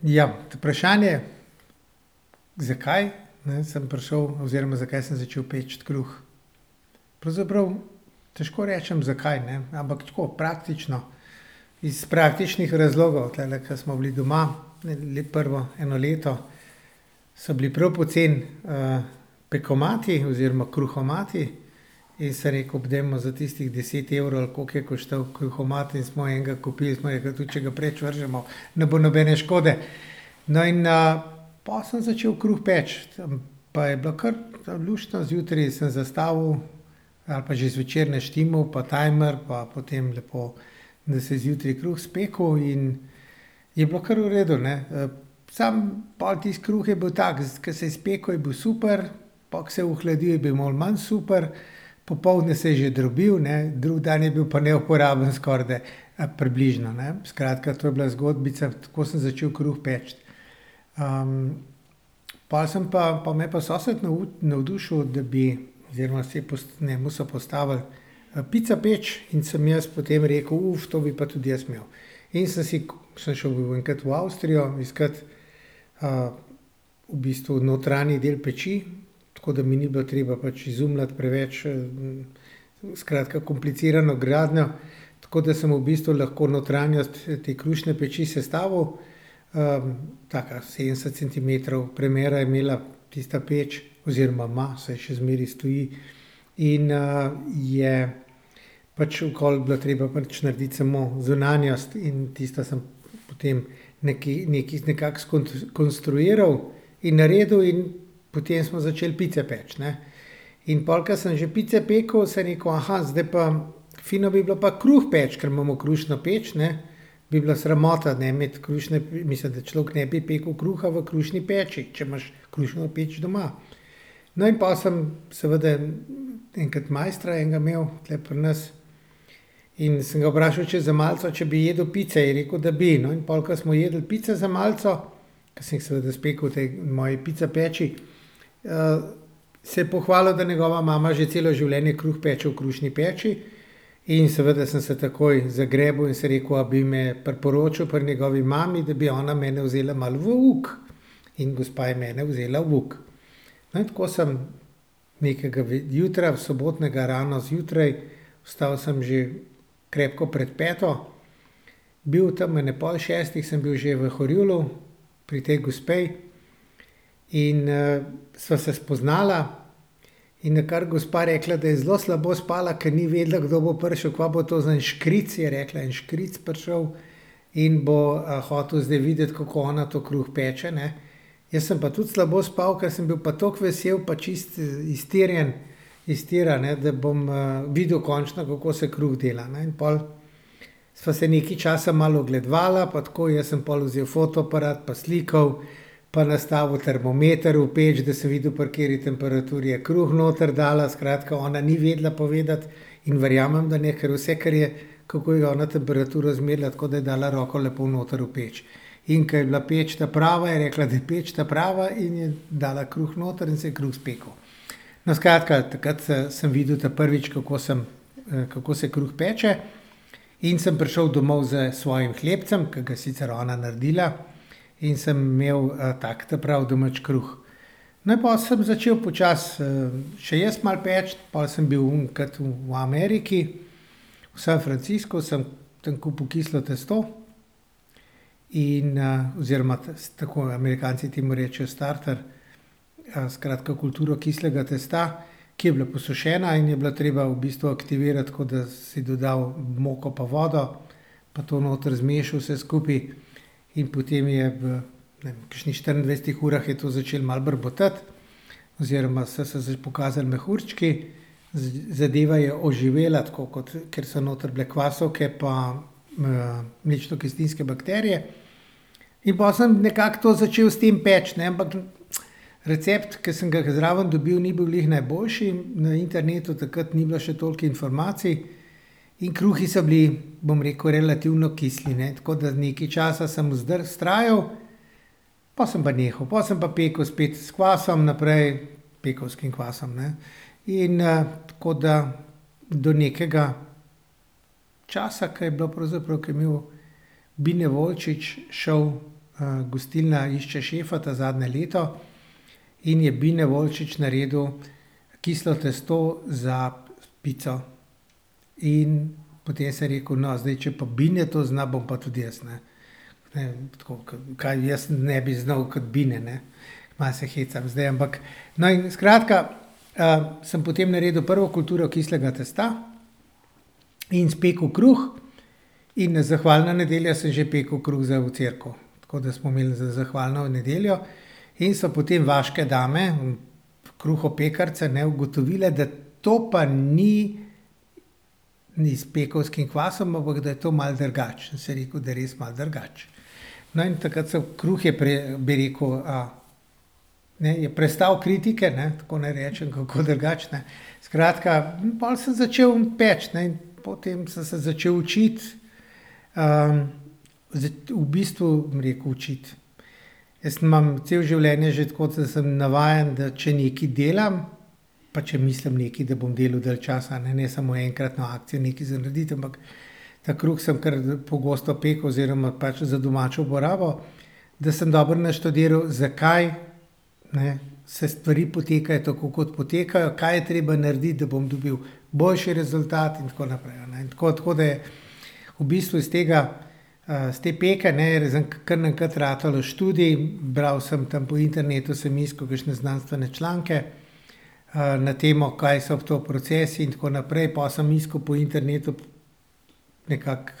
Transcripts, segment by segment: Ja, vprašanje, zkaj sem prišel oziroma zakaj sem začel peči kruh. Pravzaprav težko rečem, zakaj, ne, ampak tako, praktično, iz praktičnih razlogov. Tulele, ke smo bili doma, prvo, eno leto, so bili prav poceni, pekomati oziroma kruhomati in sem rekel: "Dajmo, za tistih deset evrov, ali koliko je koštal kruhomat. In smo enega kupili." Smo rekli: "Tudi če ga preč vržemo, ne bo nobene škode." No, in, pol sem začel kruh peči, pa je bilo kar luštno. Zjutraj sem zastavil ali pa že zvečer naštimal, pa timer pa potem lepo, da se je zjutraj kruh spekel in je bilo kar v redu, ne. samo pol tisto kruh je bil tako, kot se je spekel, je bil super, po, ko se je ohladil, je bil malo manj super, popoldne se je že drobil, ne, drug dan je bil pa neuporaben skorajda, približno, ne. Skratka, to je bila zgodbica. Tako sem začel kruh peči. pol sem pa, pol me je pa sosed navdušil, da bi, oziroma si je njemu so postavili, pica peč, in sem jaz potem rekel: to bi pa tudi jaz imel." In sem si, ke sem šel enkrat v Avstrijo iskat, v bistvu notranji del peči, tako da mi ni bilo treba pač izumljati preveč, skratka, komplicirano gradnjo. Tako da sem v bistvu lahko notranjost te krušne peči sestavil. taka, sedemdeset centimetrov premera je imela tista peč oziroma ima, saj še zmeraj stoji. In, je pač okoli bilo treba pač narediti samo zunanjost in tisto sem potem nekako skonstruiral in naredil in potem smo začeli pice peči, ne. In pol, ke sem že pice pekel, sem rekel: zdaj pa fino bi bilo pa kruh peči, ker imamo krušno peč, ne." Bi bila sramota, ne, imeti krušno, mislim, da človek ne bi pekel kruha v krušni peči, če imaš krušno peč doma. No, in pol sem seveda enkrat mojstra enega imeli tule pri nas in sem ga vprašal, če za malico, če bi jedel pice. In je rekel, da bi. No, in pol, ke smo jedli pico za malico, ke sem jih seveda spekel v tej moji pica peči, se je pohvalil, da njegova mama že celo življenje kruh peče v krušni peči. In seveda sem se takoj zagrebel in sem rekel, a bi me priporočil pri njegovi mami, da bi ona mene vzela malo v uk. In gospa je mene vzela v uk. No, in tako sem nekega jutra sobotnega rano zjutraj, vstal sem že krepko pred peto, bil tam ob ene pol šestih sem bil že v Horjulu pri tej gospe in, sva se spoznala. In nakar je gospa rekla, da je zelo slabo spala, ker ni vedela, kdo bo prišel, kaj bo to za en škric, je rekla, en škric prišel, in bo, hotel zdaj videti, kako ona to kruh peče, ne. Jaz sem pa tudi slabo spal, ker sem bil pa tako vesel pa čisto iztirjen, iz tira, ne, da bom, videl končno, kako se kruh dela. No, in pol sva se nekaj časa malo ogledovala pa tako. Jaz sem pol vzel fotoaparat pa slikal, pa nastavil termometer v peč, da sem videl, pri kateri temperaturi je kruh noter dala. Skratka, ona ni vedela povedati, in verjamem, da ne, ker vse, kar je, kako je ona temperaturo izmerila. Tako da je dala roko lepo noter v peč. In ke je bila peč ta prava, je rekla, da je peč ta prava in je dala kruh noter in se je kruh spekel. No, skratka, takrat, sem videl ta prvič, kako sem, kako se kruh peče, in sem prišel domov s svojim hlebcem, ke ga je sicer ona naredila, in sem imel, tak ta prav domač kruh. No, in pol sem začel počasi, še jaz malo peči, pol sem bil enkrat v Ameriki, v Sam Franciscu, sem tam kupil kislo testo, in, oziroma tako Amerikanci temu rečjo starter. skratka, kulturo kislega testa, ki je bila posušena in je bilo treba v bistvu aktivirati tako, da si dodal moko pa vodo pa to noter zmešal vse skupaj. In potem je v, ne vem, kakšnih štiriindvajsetih urah je to začelo malo brbotati, oziroma so se pokazali mehurčki. Zadeva je oživela tako kot, ker so noter bile kvasovke pa, mlečnokislinske bakterije. In pol sem nekako to začel s tem peči, ne. Ampak, recept, ke sem ga zraven dobil, ni bil glih najboljši, na internetu takrat ni bilo še toliko informacij, in kruhi so bili, bom rekel, relativno kisli, ne. Tako da nekaj časa sem vztrajal, pol sem pa nehal. Pol sem pa pekel spet s kvasom naprej, pekovskim kvasom, ne. In, tako da do nekega časa, ke je bilo pravzaprav, ke je imel Bine Volčič šov, Gostilna išče šefa ta zadnje leto, in je Bine Volčič naredil kislo testo za pico. In potem sem rekel: "No, zdaj če pa Bine to zna, bom pa tudi jaz, ne." Ne, tako, ke, kaj jaz ne bi znal kot Bine, ne. Malo se hecam zdaj, ampak ... No, in skratka, sem potem naredil prvo kulturo kislega testa in spekel kruh. In na zahvalno nedeljo sem že pekel kruh za v cerkev. Tako da smo imeli za zahvalno nedeljo in so potem vaške dame, kruhopekarice, ne, ugotovile, da to pa ni, ni s pekovskim kvasom, ampak da je to malo drugače. Sem rekel, da je res malo drugače. No, in takrat sem, kruh je bi rekel, ne, je prestal kritike, ne, tako naj rečem kako drugače, ne. Skratka, pol sem začel peči, ne. In po tem sem se začeli učiti, v bistvu, bom rekel, učiti, jaz imam celo življenje že, tako sem navajen, da če nekaj delam pa če mislim nekaj, da bom delu dalj časa, ne, ne samo enkrat na akcijo nekaj za graditi, ampak ta kruh sem kar pogosto pekel oziroma pač za domačo uporabo, da sem dobro naštudiral, zakaj, ne, se stvari potekajo, tako kot potekajo, kaj je treba narediti, da bom dobil boljši rezultat in tako naprej, a ne. Tako, tako da v bistvu iz tega, iz te peke, ne, je kar naenkrat ratal študij. Bral sem, tam po internetu sem iskal kakšne znanstvene članke, na temo, kaj so to procesi in tako naprej. Po sem iskal po internetu nekako,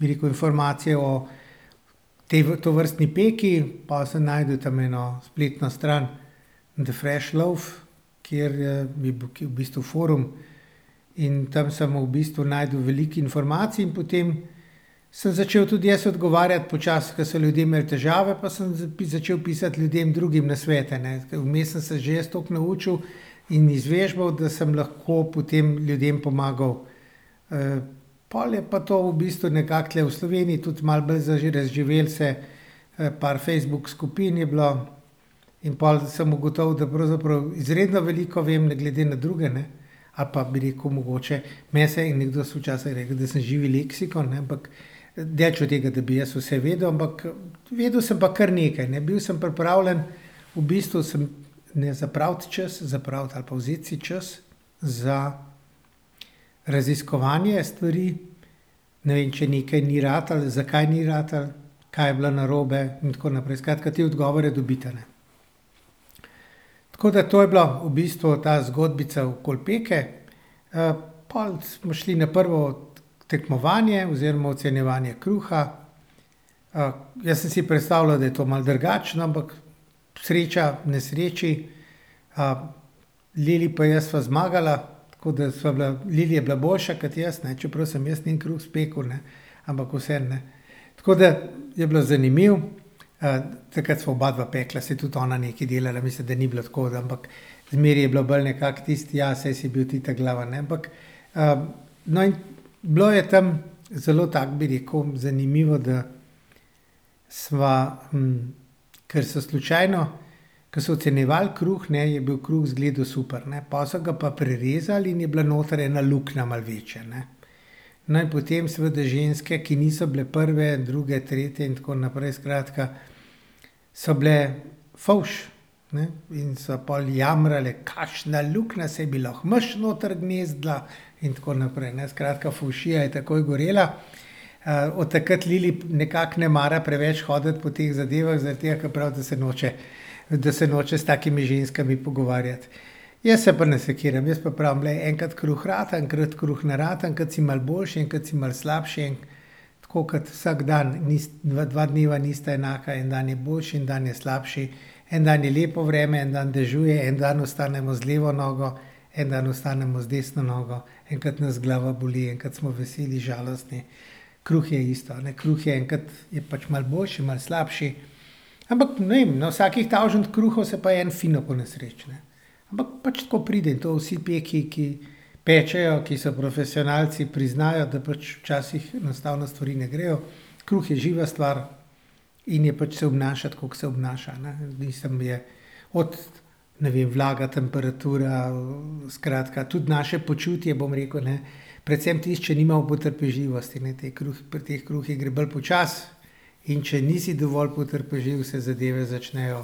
bi rekel, informacije o tovrstni peki. Pol sem našel tam eno spletno stran The fresh loaf, kjer, ki je v bistvu forum, in tam sem v bistvu našel veliko informacij in potem sem začel tudi jaz odgovarjati počasi, ke so ljudje imeli težave pa sem začel pisati ljudem drugim nasvete, ne. Ke vmes sem se že jaz toliko naučil in izvežbal, da sem lahko potem ljudem pomagal. pol je pa to v bistvu nekako tule v Sloveniji tudi malo bolj razživelo se, par Facebook skupin je bilo, in pol sem ugotovil, da pravzaprav izredno veliko vem glede na druge, ne, ali pa bi rekel mogoče, meni se je nekdo so včasih rekli, da sem živi leksikon, ne, ampak daleč od tega, da bi jaz vse vedel, ampak vedel sem pa kar nekaj, ne. Bil sem pripravljen v bistvu sem, ne, zapraviti čas, zapraviti ali pa vzeti si čas za raziskovanje stvari. Ne vem, če nekaj ni ratalo, zakaj ni ratalo, kaj je bilo narobe in tako naprej. Skratka, te odgovore dobiti, a ne. Tako da to je bila v bistvu ta zgodbica okoli peke. pol smo šli na prvo tekmovanje oziroma ocenjevanje kruha. jaz sem si predstavljal, da je to malo drugače, no, ampak sreča v nesreči, Lili pa jaz sva zmagala. Tako da sva bila, Lili je bila boljša kot jaz, ne, čeprav sem jaz njen kruh spekel, ne. Ampak vseeno, ne. Tako da je bilo zanimivo. takrat sva oba dva pekla, saj je tudi ona nekaj delala, mislim, da ni bilo tako. Ampak zmeraj je bilo bolj nekako tisto: "Ja, saj si bil ti ta glavni, ne." Ampak, no, in bilo je tam zelo tako, bi rekel, zanimivo, da sva, ker so slučajno, ke so ocenjevali kruh, ne, je bil kruh izgledal super, ne. Pol so ga pa prerezali in je bila noter ena luknja malo večja, ne. No, in potem seveda ženske, ki niso bile prve, druge, tretje in tako naprej, skratka, so bile fovš, ne, in so pol jamrale: "Kakšna luknja, saj bi lahko miš noter gnezdila." In tako naprej, ne, skratka, fovšija je takoj gorela. od takrat Lili nekako ne mara preveč hoditi po teh zadevah, zaradi tega, ke pravi, da se noče, da se noče s takimi ženskami pogovarjati. Jaz se pa ne sekiram. Jaz pa pravim: "Glej, enkrat kruh rata, enkrat kruh ne rata, enkrat si malo boljši, enkrat si malo slabši." Tako kot vsak dan. dva dneva nista enaka. En dan je boljši, en dan je slabši. En dan je lepo vreme, en dan dežuje, en dan vstanemo z levo nogo, en dan vstanemo z desno nogo. Enkrat nas glava boli, enkrat smo veseli, žalostni. Kruh je isto, a ne. Kruh je enkrat je pač malo boljši, malo slabši. Ampak ne vem, na vsakih tavžent kruhov se pa en fino ponesreči, ne. Ampak pač tako pride. To vsi peki, ki pečejo, ki so profesionalci, priznajo, da pač včasih enostavno stvari ne grejo. Kruh je živa stvar in je, pač se obnaša, tako ke se obnaša, a ne. Mislim je od, ne vem, vlaga, temperatura, skratka, tudi naše počutje, bom rekel, ne, predvsem tisto, če nimamo potrpežljivosti, ne, te pri teh kruhih gre bolj počasi, in če nisi dovolj potrpežljiv, se zadeve začnejo,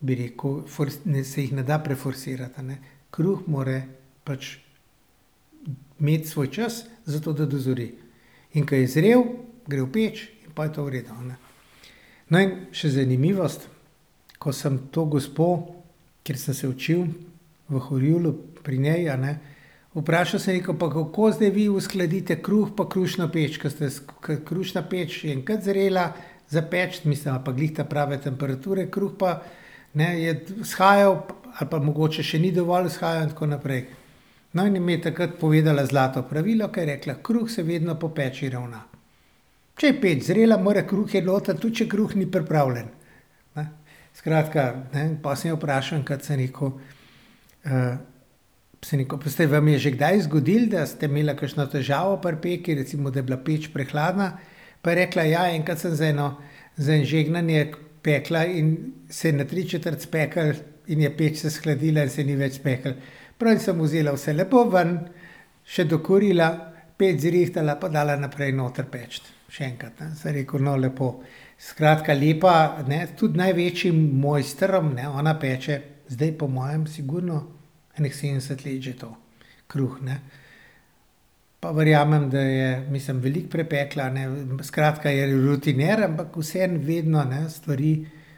bi rekel, se jih ne da preforsirati, a ne. Kruh mora pač imeti svoj čas, zato da dozori. In ke je zrel, gre v peč, in po je to v redu, a ne. No, in še zanimivost. Ko sem to gospo, kjer sem se učil, v Horjulu pri njej, a ne, vprašal, sem rekel: "Pa kako zdaj vi uskladite kruh pa krušno peč, ke ke krušna peč je enkrat zrela za peči, mislim, ali pa glih ta prave temperature, kruh pa, ne, je vzhajal, ali pa mogoče še ni dovolj vzhajal in tako naprej?" No, in mi je takrat povedala zlato pravilo, ki je rekla: "Kruh se vedno po peči ravna. Če je peč zrela, mora kruh iti noter, tudi če kruh ni pripravljen, ne." Skratka, ne, po sem jo vprašal, enkrat sem rekel, sem rekel: "Pa se vam je že kdaj zgodilo, da ste imela kakšno težavo pri peki? Recimo, da je bila peč prehladna? Pa je rekla: "Ja, enkrat sem z eno za eno žegnanje pekla in se je na tri četrt spekel in je peč se shladila in se ni več spekel." Pravi: "In sem vzela vse lepo ven, še dokurila, peč zrihtala pa dala naprej noter peči, še enkrat, ne." Sem rekel: "No, lepo." Skratka, lepa, ne, tudi največjim mojstrom, ne, ona peče zdaj po mojem sigurno ene sedemdeset let že to. Kruh, ne. Pa verjamem, da je, mislim, veliko prepekla, ne. Skratka, je rutiner, ampak vseeno vedno, ne, stvari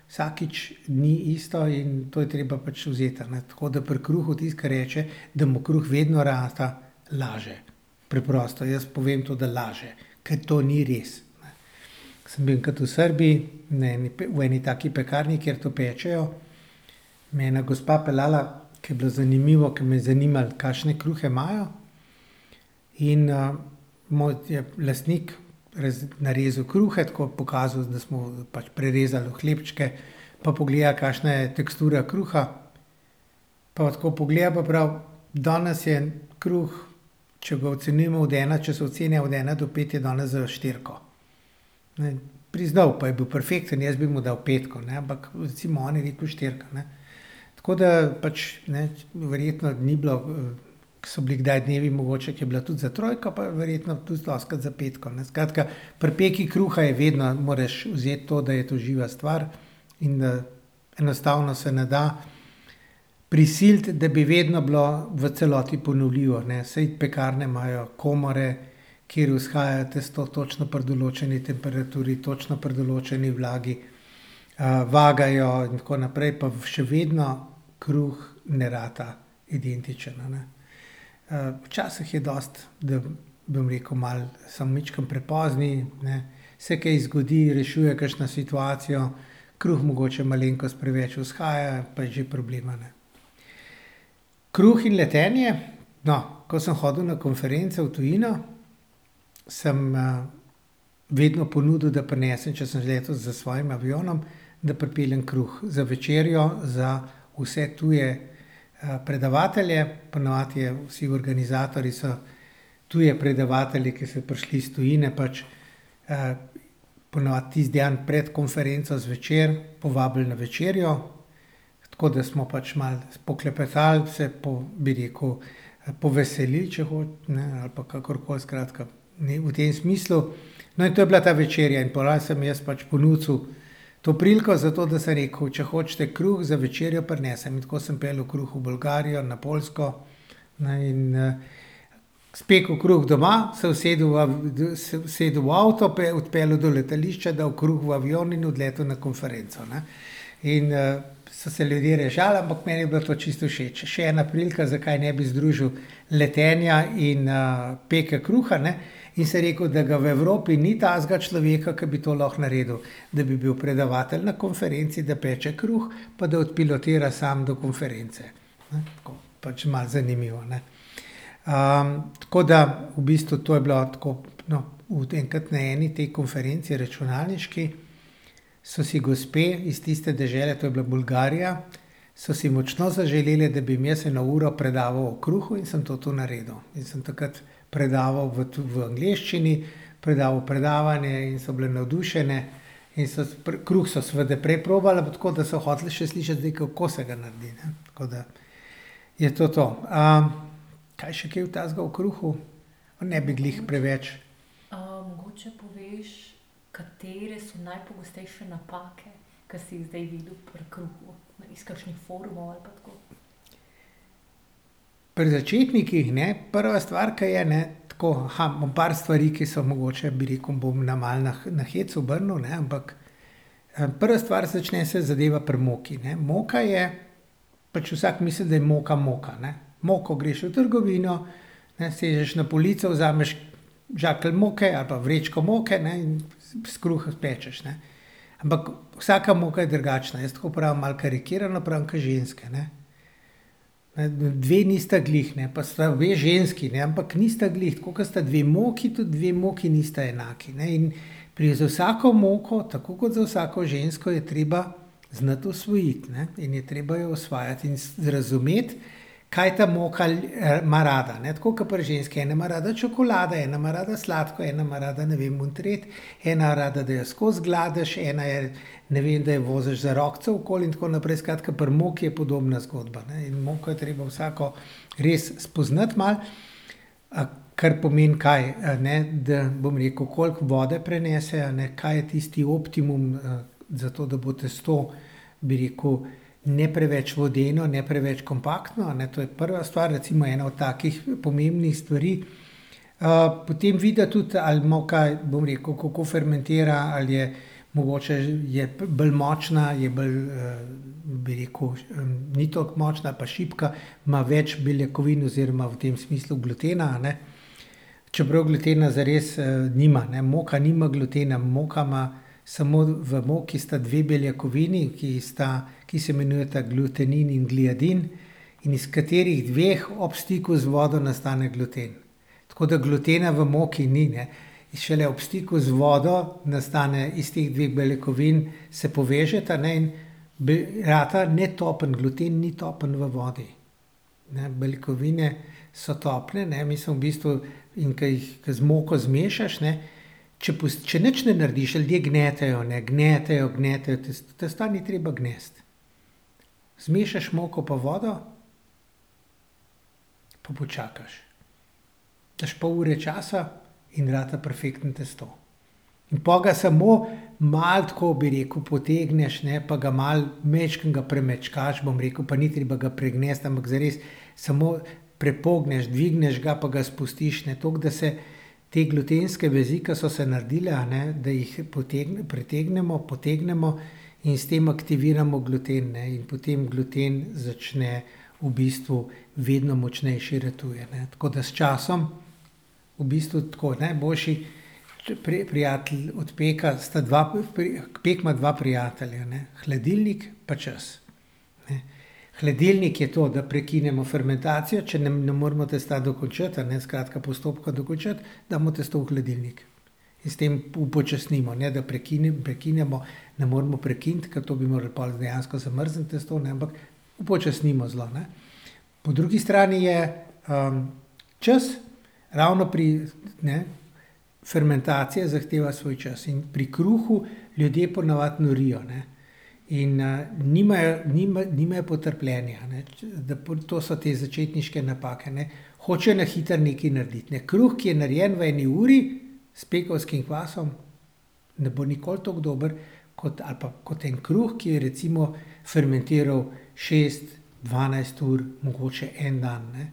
vsakič ni isto in to je treba pač vzeti, a ne. Tako da pri kruhu, tisti, ke reče, da mu kruh vedno rata, laže. Preprosto, jaz povem to, da laže. Ke to ni res, ne. Sem bil enkrat v Srbiji, na eni, v eni taki pekarni, kjer to pečejo, me je ena gospa peljala, ke je bilo zanimivo, ke me je zanimalo, kakšne kruhe imajo, in, je lastnik narezal kruhe, tako pokazal, da smo pač prerezali hlebčke pa pogledali, kakšna je tekstura kruha. Pol pa tako pogleda pa pravi: "Danes je kruh, če ga ocenjujemo od ena, če so ocene od ena do pet, je danes za štirico, ne." Priznal, pa je bil perfekten, jaz bi mu dal petko, ne, ampak recimo on je rekel štirka, ne. Tako da pač, ne, verjetno ni bilo, so bili kdaj dnevi mogoče, ke je bilo tudi za trojko, pa verjetno tudi dostikrat za petko, ne. Skratka, pri peki kruha je vedno, moraš vzeti to, da je to živa stvar in da enostavno se ne da prisiliti, da bi vedno bilo v celoti ponovljivo, ne. Saj pekarne imajo komore, kjer vzhaja tisto točno pri določeni temperaturi, točno pri določeni vlagi, vagajo in tako naprej, pa še vedno kruh ne rata identičen, a ne. včasih je dosti, da, bom rekel, malo samo majčkeno prepozni, ne, se kaj zgodi, rešujejo kakšno situacijo, kruh mogoče malenkost preveč vzhaja, pa je že problem, a ne. Kruh in letenje. No, ko sem hodil na konference v tujino, sem, vedno ponudil, da prinesem, če sem že letel s svojim avionom, da pripeljem kruh za večerjo za vse tuje, predavatelje. Po navadi je, vsi organizatorji so tuje predavatelje, ki so prišli iz tujine, pač, po navadi tisti dan pred konferenco zvečer povabili na večerjo. Tako da smo pač malo poklepetali, se bi rekel, poveselil, če ne, ali pa kakorkoli. Skratka, ne, v tem smislu. No, in to je bila ta večerja. In po navadi sem jaz pač ponucal to priliko za to, da sem rekel: "Če hočete kruh za večerjo, prinesem." In tako sem peljal kruh v Bolgarijo, na Poljsko, ne, in, spekel kruh doma, se usedel v se usedel v avto, odpeljal do letališča, dal kruh v avion in odletel na konferenco, ne. In, so se ljudje režali, ampak meni je bilo to čisto všeč. Še ena prilika, zakaj ne bi združil letenja in, peke kruha, ne. In sem rekel, da ga v Evropi ni takega človeka, ki bi to lahko naredil. Da bi bil predavatelj na konferenci, da peče kruh, pa da odpilotira sam do konference, ne, tako. Pač malo zanimivo, ne. tako da v bistvu to je bila tako, no, tudi enkrat na eni tej konferenci računalniški so si gospe iz tiste dežele, to je bila Bolgarija, so si močno zaželele, da bi jim jaz eno uro predaval o kruhu, in sem to, to naredil. In sem takrat predaval v tudi v angleščini predaval predavanje in so bile navdušene. In so kruh so seveda prej probale pa tako, da so hotele še slišati zdaj, kako se ga naredi, ne. Tako da je to to. kaj je še kaj takega o kruhu? Ne bi glih preveč ... Pri začetnikih, ne. Prva stvar, ki je, ne, tako, bom par stvari, ki so mogoče, bi rekel, bom na malo na hec obrnil, ne, ampak, prva stvar, začne se zadeva pri moki, ne. Moka je, pač vsak misli, da je moka moka, ne. Moko greš v trgovino, ne, sežeš na polico, vzameš žakelj moke ali pa vrečko moke, ne, in kruh pečeš, ne. Ampak vsaka moka je drugačna. Jaz tako pravim malo karikirano, pravim, ke ženske, ne. Dve nista glih, ne, pa sta obe ženski, ne, ampak nista glih. Tako ke sta dve moki, tudi dve moki nista enaki, ne, in z vsako moko, tako ke z vsako žensko, je treba znati osvojiti, ne, in je treba jo osvajati in razumeti, kaj ta moka ima rada, ne. Tako ke pri ženski, ena ima rada čokolade, ena ima rada sladko, ena ima rada, ne vem, ono, tretje, ena ima rada, da jo skoz gladiš, ena je, ne vem, da jo voziš za rokico okoli in tako naprej. Skratka, pri moki je podobna zgodba, ne. In moko je treba vsako res spoznati malo, kar pomeni kaj? A ne, da, bom rekel, koliko vode prenese, a ne, kaj je tisti optimum zato, da bo tisto, bi rekel, ne preveč vodeno, ne preveč kompaktno, a ne. To je prva stvar recimo ena od takih, pomembnih stvari. potem videti tudi, a je moka, bom rekel, kako fermentira, ali je mogoče je bolj močna, je bolj, bi rekel, ni toliko močna, ali pa šibka. Ima več beljakovin oziroma v tem smislu glutena, a ne. Čeprav glutena zares, nima, ne. Moka nima glutena, moka ima, samo v moki sta dve beljakovini, ki sta, ki se imenujta glutenin in gliadin, in iz katerih dveh ob stiku z vodo nastane gluten. Tako da glutena v moki ni, ne. Šele ob stiku z vodo nastane iz teh dveh beljakovin, se povežeta, ne, in rata netopen, gluten ni topen v vodi, ne, beljakovine so topne, ne, mi smo v bistvu in ke jih, ke z moko zmešaš, ne, če če nič ne narediš, ljudje gnetejo, ne, gnetejo, gnetejo testo. Testa ni treba gnesti. Zmešaš moko pa vodo, pa počakaš. Daš pol ure časa in rata perfektno testo. In po ga samo malo tako, bi rekel, potegneš, ne, pa ga malo, majčkeno ga premečkaš, bom rekel, pa ni treba ga pregnesti, ampak zares samo prepogneš. Dvigneš ga pa ga spustiš, ne. Toliko, da se te glutenske vezi, ke so se naredile, a ne, da jih pretegnemo, potegnemo in s tem aktiviramo gluten, ne. In potem gluten začne, v bistvu vedno močnejši ratuje, ne. Tako da s časom v bistvu tako, najboljši prijatelj od peka sta dva. Pek ima dva prijatelja, ne. Hladilnik pa čas, ne. Hladilnik je to, da prekinemo fermentacijo, če ne moremo testa dokončati, a ne, skratka, postopka dokončati, damo testo v hladilnik in s tem upočasnimo. Ne, da prekinemo, ne moremo prekiniti, ker to bi morali pol dejansko zamrzniti testo, ne, ampak upočasnimo zelo, ne. Po drugi strani je, čas, ravno pri, ne, fermentacija zahteva svoj čas. In pri kruhu ljudje po navadi norijo, ne. In, nimajo, nimajo potrpljenja, ne. Da to so te začetniške napake, ne. Hočejo na hitro nekaj narediti, ne. Kruh, ki je narejen v eni uri s pekovskim kvasom ne bo nikoli tako dober kot, ali pa, kot en kruh, ki je recimo fermentiral šest, dvanajst ur, mogoče en dan, ne.